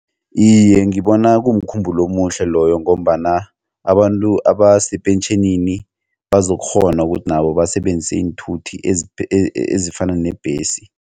Iye, ngibona kumkhumbulo omuhle loyo ngombana abantu abasepentjhenini bazokghona ukuthi nabo basebenzise iinthuthi ezifana nebhesi.